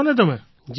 કરશો ને તમે